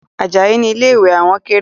Ajayi ni ilé ìwẹ̀ àwọn kéré